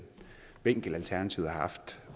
vinkel alternativet har haft